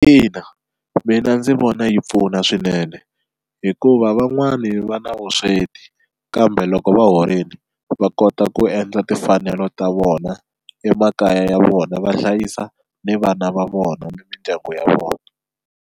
Ina mina ndzi vona yi pfuna swinene hikuva van'wani va na vusweti kambe loko va horile va kota ku endla timfanelo ta vona emakaya ya vona va hlayisa ni vana va vona ni mindyangu ya vona.